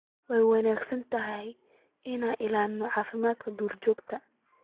Way wanaagsan tahay in la ilaaliyo caafimaadka duurjoogta .